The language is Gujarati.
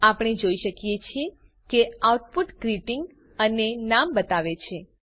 આપણે જોઈ શકીએ છીએ કે આઉટપુટ ગ્રીટિંગ અને નામ બતાવે છે